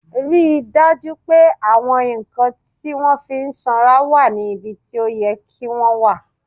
Rí i dájú pé àwọn nǹkan tí wọ́n fi ń sanra wà níbi tó yẹ kí wọ́n wà!